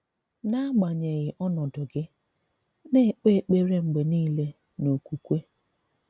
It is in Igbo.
N’agbanyeghị̀ ọ̀nọ̀dụ gị̀, na-èkpè èkpèrè mgbe niile n’okwùkwè.